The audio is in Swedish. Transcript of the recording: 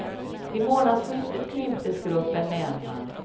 Vid månadsskiftet krymptes gruppen med en man.